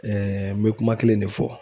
n be kuma kelen de fɔ